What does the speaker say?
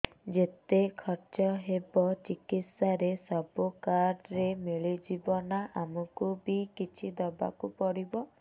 ଯେତେ ଖର୍ଚ ହେବ ଚିକିତ୍ସା ରେ ସବୁ କାର୍ଡ ରେ ମିଳିଯିବ ନା ଆମକୁ ବି କିଛି ଦବାକୁ ପଡିବ